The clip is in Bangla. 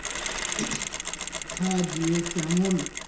কোথা দিয়ে কেমন